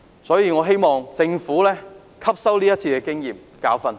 所以我希望政府能汲取今次的經驗和教訓。